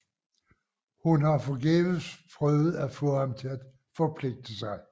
Hun har forgæves prøvet at få ham til at forpligte sig